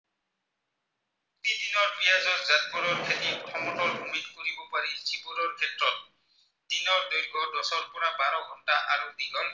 খেতি সমতল ভূমিত কৰিব পাৰি যিবোৰৰ ক্ষেত্ৰত দিনৰ দৈৰ্ঘ্য় দহৰ পৰা বাৰ ঘন্টা আৰু দীঘল